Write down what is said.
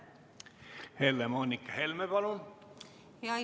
Helle-Moonika Helme, palun!